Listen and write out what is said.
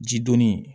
Ji donni